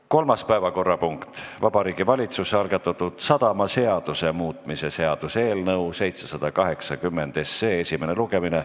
Kolmas päevakorrapunkt: Vabariigi Valitsuse algatatud sadamaseaduse muutmise seaduse eelnõu 780 esimene lugemine.